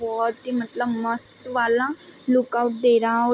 बहोत ही मतलब मस्त वाला लुक आउट दे रहा ओ --